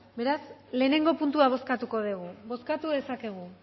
beraz lehenengo puntua bozkatuko dugu bozkatu dezakegu